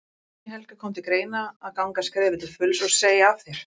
Guðný Helga: Kom til greina að ganga skrefið til fulls og, og segja af þér?